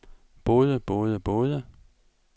både både både